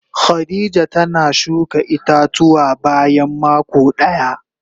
Khadijah tana shuka ita-tuwa bayan mako daya.